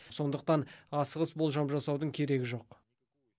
сондықтан асығыс болжам жасаудың керегі жоқ